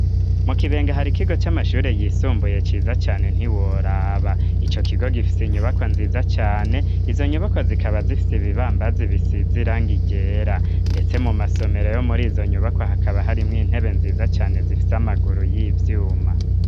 Mu Kibenga, hari ikigo c'amashure, yisumbuye, ciza cane, ntiworaba; ico kigo, gifise inyubakwa nziza cane; izo nyubakwa, zikaba, zifise ibibambazi, bisize irangi ryera, ndetse mu masomero, yo muri izo nyubakwa, hakaba, harimwo intebe nziza cane, zifise amaguru y'ivyuma.